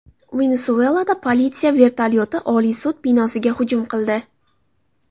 Venesuelada politsiya vertolyoti Oliy sud binosiga hujum qildi.